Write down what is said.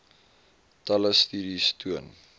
talle studies toon